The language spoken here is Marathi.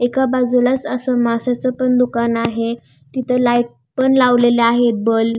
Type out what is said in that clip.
एका बाजूला अस माश्याचं पण दुकान आहे तिथं लाईट पण लावलेलं आहे बल्ब .